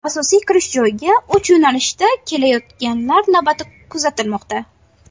Asosiy kirish joyiga uch yo‘nalishda kelayotganlar navbati kuzatilmoqda.